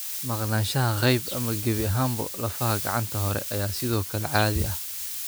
Maqnaanshaha qayb ama gebi ahaanba lafaha gacanta hore ayaa sidoo kale caadi ah.